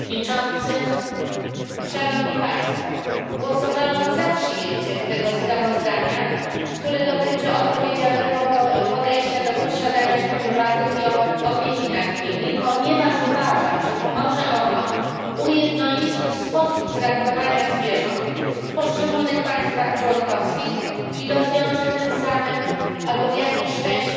Panie Przewodniczący! Głosowałam za przyjęciem tego sprawozdania, które dotyczy odpowiedzialnego podejścia do posiadania koniowatych i opieki nad nimi, ponieważ uważam, że pomoże ono ujednolicić sposób traktowania zwierząt w poszczególnych państwach członkowskich i rozwiąże tym samym problem albo chociaż w jakiejś części wpłynie na poprawę